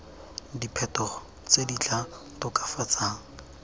diphetogo tse di tla tokafatsang